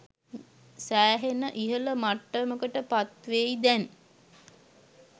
සැහෙන ඉහල මට්ටමකට පත්වෙයි දැන්.